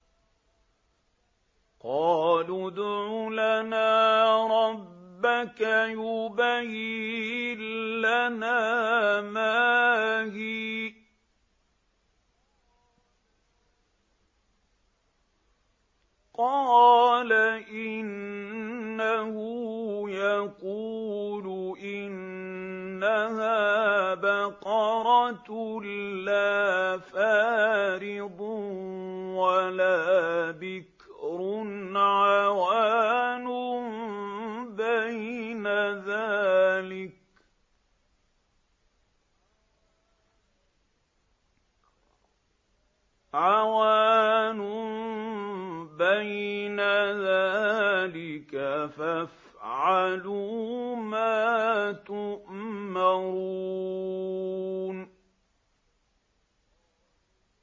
قَالُوا ادْعُ لَنَا رَبَّكَ يُبَيِّن لَّنَا مَا هِيَ ۚ قَالَ إِنَّهُ يَقُولُ إِنَّهَا بَقَرَةٌ لَّا فَارِضٌ وَلَا بِكْرٌ عَوَانٌ بَيْنَ ذَٰلِكَ ۖ فَافْعَلُوا مَا تُؤْمَرُونَ